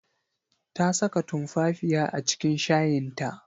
Ta saka tumfafiya a cikin shayin ta.